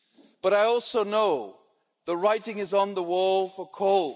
But I also know the writing is on the wall for coal.